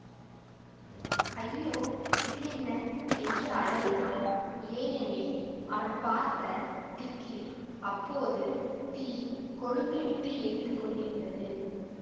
ஐயோ இது என்ன என்று அலறினான் ஏனெனில் அவன் பார்த்த திக்கில் அப்போது தீ கொழுந்து விட்டு எரிந்து கொண்டிருந்தது